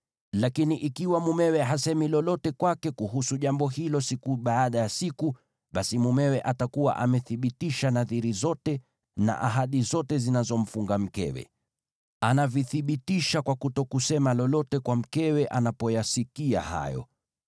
Lakini ikiwa mumewe hasemi lolote kwake kuhusu jambo hilo siku baada ya siku, basi mumewe atakuwa amethibitisha nadhiri zote, na ahadi zote zinazomfunga mkewe. Anavithibitisha kwa kutokusema lolote kwa mkewe anapoyasikia hayo.